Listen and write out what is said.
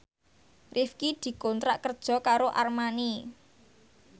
Rifqi dikontrak kerja karo Armani